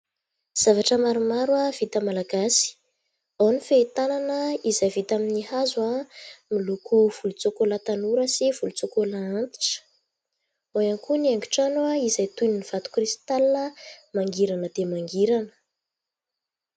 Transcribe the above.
Zavatra maromaro vita malagasy, ao ny fehitanana izay vita amin'ny hazo miloko volontsokola tanora sy volontsokola antitra, ao ihany koa ny haingo-trano izay toy ny vato kristalina mangirana dia mangirana.